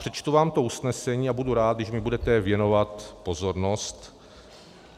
Přečtu vám to usnesení a budu rád, když mi budete věnovat pozornost.